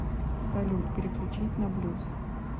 салют переключить на блюз